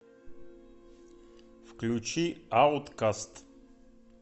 включи ауткаст